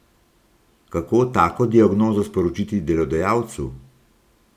Kako tako diagnozo sporočiti delodajalcu?